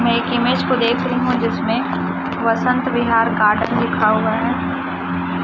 मैं एक इमेज को देख रही हूं जिसमें वसंत विहार गार्डन लिखा हुआ है।